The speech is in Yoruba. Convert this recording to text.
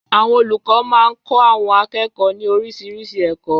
Àwọn olùkọ́ máa ń kọ́ àwọn akẹ́kọ̀ọ́ ní oríṣiríṣi ẹ̀kọ́.